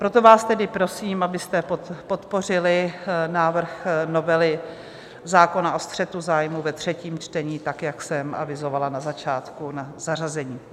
Proto vás tedy prosím, abyste podpořili návrh novely zákona o střetu zájmů ve třetím čtení, tak jak jsem avizovala na začátku na zařazení.